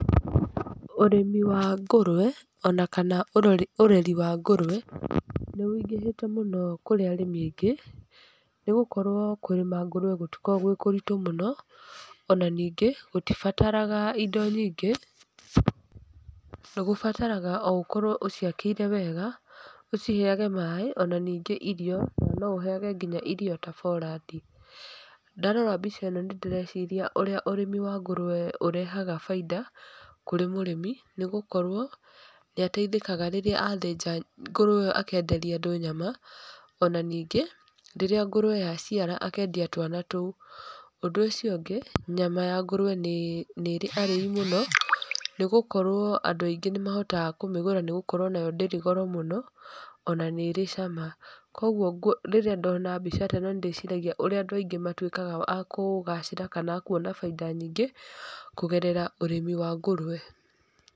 Ũrĩmi wa ngũrũwe ona kana ũreri wa ngũrũwe nĩ ũingĩhĩte mũno kũrĩ arĩmi aingĩ nĩ gũkorwo kũrĩma ngũrũwe gũtikoragwo gwĩ kũritũ mũno ona ningĩ gũtibataraga indo nyingĩ, nĩ gũbataraga gũkorwo o ũciakĩire wega, ũciheage maĩ ona ningĩ irio, no ũheage irio nginya ta borandi. Ndarora mbica ĩno nĩ ndĩreciria ũrĩa ũrĩmi wa ngũrũwe ũrehaga bainda kũrĩ mũrĩmi nĩ gũkorwo nĩ ateithĩkaga rĩrĩa athĩnja ngũrũwe ĩo akenderia andũ nyama ona ningĩ rĩrĩa ngũrũwe yaciara akendia twana tũu. Ũndũ ũcio ũngĩ nyama ya ngũrũwe nĩ ĩrĩ arĩi mũno nĩ gũkorwo andũ aingĩ nĩ mahotaga kũmĩgũra nĩ gũkorwo nayo ndĩrĩ goro mũno ona nĩ ĩrĩ cama. Ũguo rĩrĩa ndona mbica ta ĩno nĩ ndĩciragia ũrĩa andũ aingĩ matuĩkaga a kũgacĩra kana akuona bainda nyingĩ kũgerera ũrĩmi wa ngũrũwe.